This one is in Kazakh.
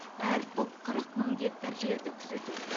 әр топ қырық мың гектар жерді күзетеді